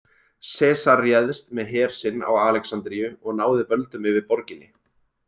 Sesar réðst með her sinn á Alexandríu og náði völdum yfir borginni.